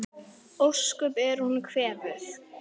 Ósköp er hún kvefuð.